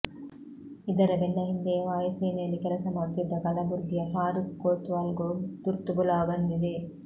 ಇದರ ಬೆನ್ನ ಹಿಂದೆಯೇ ವಾಯು ಸೇನೆಯಲ್ಲಿ ಕೆಲಸ ಮಾಡುತ್ತಿದ್ದ ಕಲಬುರ್ಗಿಯ ಫಾರೂಕ್ ಕೊತ್ವಾಲ್ ಗೂ ತುರ್ತು ಬುಲಾವ್ ಬಂದಿದೆ